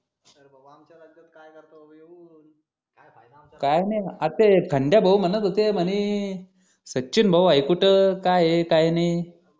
काय नाही आता ते खंड्या भाऊ म्हणत होते म्हणे सचिन भाऊ आहे कुठे काय आहे काय नाही